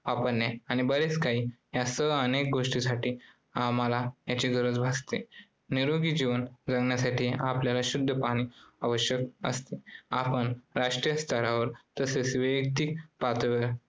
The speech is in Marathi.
या सह अनेक गोष्टीसाठी आम्हाला यांची गरज असते, निरोगी जीवन जगण्यासाठी आपल्याला शुद्ध पाणी आवश्यक असते. आपण राष्ट्रीय स्तरावर तसेच वैयक्तिक पातळीवर